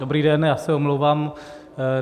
Dobrý den, já se omlouvám.